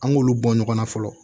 An k'olu bɔ ɲɔgɔnna fɔlɔ